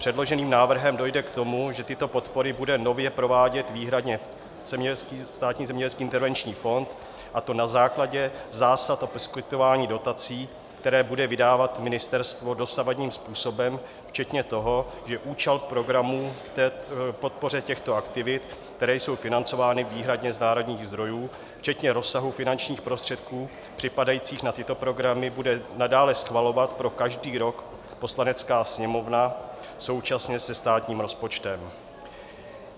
Předloženým návrhem dojde k tomu, že tyto podpory bude nově provádět výhradně Státní zemědělský intervenční fond, a to na základě zásad o poskytování dotací, které bude vydávat ministerstvo dosavadním způsobem včetně toho, že účel programu k podpoře těchto aktivit, které jsou financovány výhradně z národních zdrojů, včetně rozsahu finančních prostředků připadajících na tyto programy, bude nadále schvalovat pro každý rok Poslanecká sněmovna současně se státním rozpočtem.